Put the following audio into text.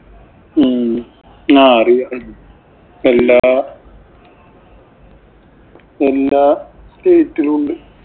ഉം ആ അറിയാം. എല്ലാ എല്ലാ state ഇലുമുണ്ട്.